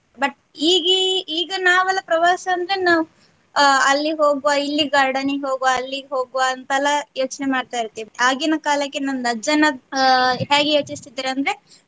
but ಈಗ ಈ ಈಗ ನಾವೆಲ್ಲ ಪ್ರವಾಸ ಅಂದ್ರೆ ನಾವ್ ಅಲ್ಲಿ ಹೋಗ್ವಾ ಇಲ್ಲಿ garden ಗೆ ಹೋಗುವ ಅಲ್ಲಿಗ ಹೋಗ್ವಾ ಅಂತೆಲ್ಲ ಯೋಚನೆ ಮಾಡ್ತ ಇರ್ತೀವಿ ಆಗಿನ ಕಾಲಕ್ಕೆ ನಮ್ದ ಅಜ್ಜನ ಹ್ಯಾಗೆ ಯೋಚಿಸ್ತಿದ್ರಂದ್ರೆ .